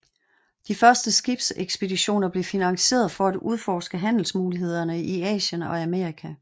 De første skibsekspeditioner blev finansieret for at udforske handelsmulighederne i Asien og Amerika